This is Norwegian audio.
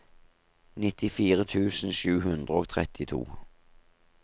nittifire tusen sju hundre og trettito